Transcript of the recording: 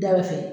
Daba fɛ